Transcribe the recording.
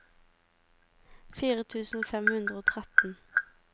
fire tusen fem hundre og tretten